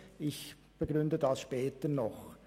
Ich begründe dies später noch.